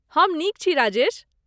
हम नीक छी, राजेश।